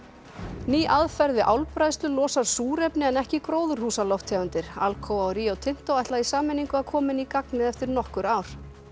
ný aðferð við álbræðslu losar súrefni en ekki gróðurhúsalofttegundir Alcoa og Rio Tinto ætla í sameiningu koma henni í gagnið eftir nokkur ár